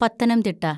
Pathanamthitta